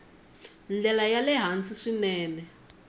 ndlela ya le hansi swinene